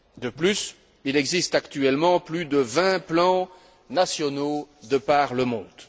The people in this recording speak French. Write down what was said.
De plus, il existe actuellement plus de vingt plans nationaux de par le monde.